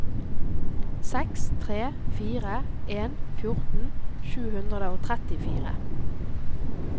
seks tre fire en fjorten sju hundre og trettifire